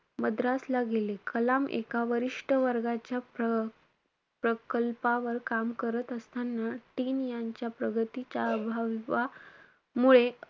मद्रासला गेले. कलाम एका वरिष्ठ वर्गाच्या प्र~ प्रकल्पावर काम करत असताना team यांच्या प्रगतीच्या अभावामुळे,